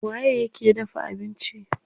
Waye yake dafa abinci?